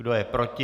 Kdo je proti?